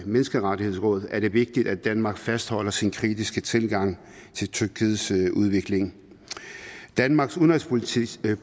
menneskerettighedsråd er det vigtigt at danmark fastholder sin kritiske tilgang til tyrkiets udvikling danmarks udenrigspolitiske